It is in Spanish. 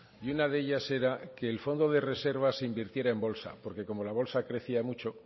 y una de ellas era que el fondo de reserva se invirtiera en bolsa porque como la bolsa crecía mucho